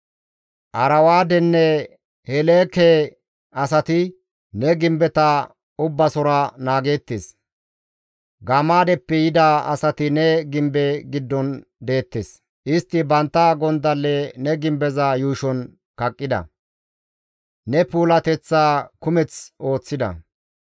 Arwaadenne Heleeke asati ne gimbeta ubbasora naageettes; Gamaadeppe yida asati ne gimbe giddon deettes; istti bantta gondalle ne gimbeza yuushon kaqqida; ne puulateththaa kumeth ooththida.